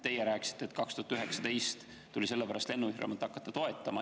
Teie rääkisite, et 2019. aastal tuli COVID‑i pärast lennufirmat hakata toetama.